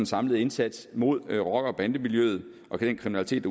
samlede indsats mod rocker og bandemiljøet og den kriminalitet